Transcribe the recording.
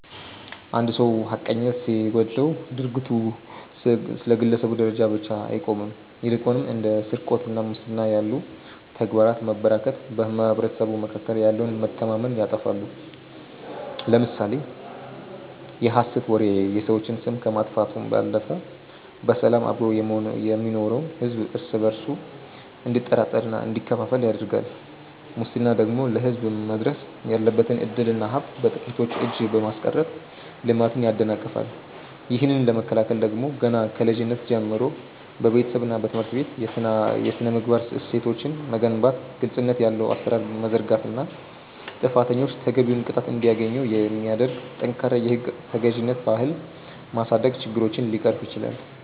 አንድ ሰው ሐቀኝነት ሲጎድለው ድርጊቱ በግለሰብ ደረጃ ብቻ አይቆምም ይልቁንም እንደ ስርቆትና ሙስና ያሉ ተግባራት መበራከት በማኅበረሰቡ መካከል ያለውን መተማመን ያጠፋሉ። ለምሳሌ የሐሰት ወሬ የሰዎችን ስም ከማጥፋቱም ባለፈ በሰላም አብሮ የሚኖረውን ሕዝብ እርስ በእርሱ እንዲጠራጠርና እንዲከፋፈል ያደርጋል ሙስና ደግሞ ለሕዝብ መድረስ ያለበትን ዕድልና ሀብት በጥቂቶች እጅ በማስቀረት ልማትን ያደናቅፋል። ይህንን ለመከላከል ደግሞ ገና ከልጅነት ጀምሮ በቤተሰብና በትምህርት ቤት የሥነ-ምግባር እሴቶችን መገንባት ግልጽነት ያለው አሠራር መዘርጋትና ጥፋተኞች ተገቢውን ቅጣት እንዲያገኙ የሚያደርግ ጠንካራ የሕግ ተገዥነት ባህል ማሳደግ ችግሮችን ሊቀርፍ ይችላል።